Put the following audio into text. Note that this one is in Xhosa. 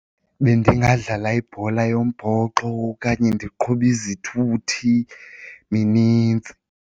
Bendingadlala ibhola yombhoxo okanye ndiqhube izithuthi, minintsi.